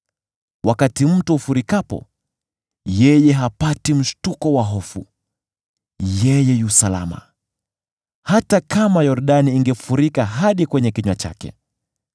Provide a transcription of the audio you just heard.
Wakati mto ufurikapo, yeye hapati mshtuko wa hofu; yeye yu salama, hata kama Yordani ingefurika hadi kwenye kinywa chake.